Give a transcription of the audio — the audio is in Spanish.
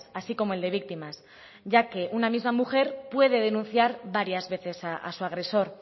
así como el de víctimas ya que una misma mujer puede denunciar varias veces a su agresor